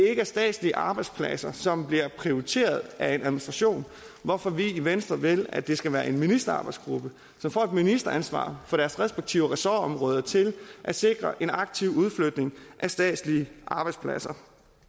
er statslige arbejdspladser som bliver prioriteret af en administration hvorfor vi i venstre vil at det skal være en ministerarbejdsgruppe som får et ministeransvar for deres respektive ressortområder til at sikre en aktiv udflytning af statslige arbejdspladser